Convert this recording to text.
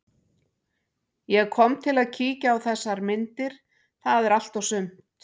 Ég kom til að kíkja á þessar myndir, það er allt og sumt.